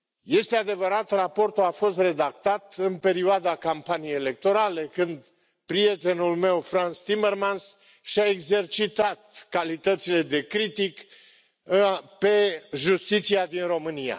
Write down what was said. Este adevărat, raportul a fost redactat în perioada campaniei electorale, când prietenul meu, Frans Timmermans, și a exercitat calitățile de critic pe justiția din România.